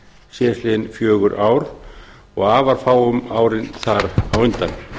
síðastliðin fjögur ár og afar fáum árin þar á undan